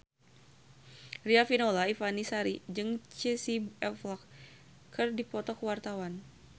Riafinola Ifani Sari jeung Casey Affleck keur dipoto ku wartawan